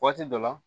Waati dɔ la